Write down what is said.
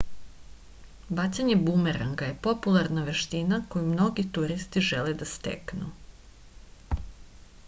bacanje bumeranga je popularna veština koju mnogi turisti žele da steknu